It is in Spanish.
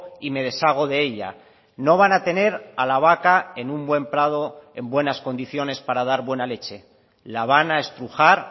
y me deshago de ella no van a tener a la vaca en un buen prado en buenas condiciones para dar buena leche la van a estrujar